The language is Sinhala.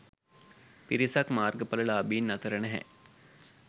පිරිසක් මාර්ගඵල ලාභීන් අතර නැහැ.